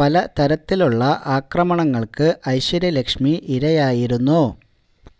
പല തരത്തിലുള്ള ആക്രമണങ്ങൾക്ക് ഐശ്വര്യലക്ഷ്മി ഇരയായിരുന്നു